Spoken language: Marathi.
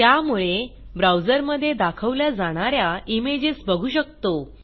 त्यामुळे ब्राऊजरमधे दाखवल्या जाणा या इमेजेस बघू शकतो